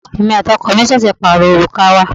Èmi àti ọkọ mi ṣẹ̀ṣẹ̀ pàrọ òrùka wa.